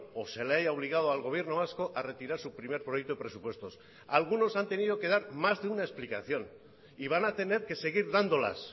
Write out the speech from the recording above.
o se le haya obligado al gobierno vasco a retirar su primer proyecto de presupuestos algunos han tenido que dar más de una explicación y van a tener que seguir dándolas